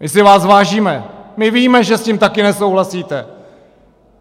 My si váš vážíme, my víme, že s tím také nesouhlasíte!